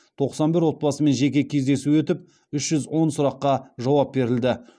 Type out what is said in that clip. тоқсан бір отбасымен жеке кездесу өтіп үш жүз он сұраққа жауап берілді